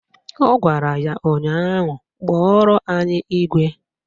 Ọ gwara ya ụnyaahụ "Kpọrọ anyị igwe"!